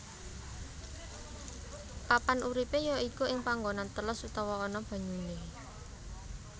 Papan uripé ya iku ing panggonan teles utawa ana banyuné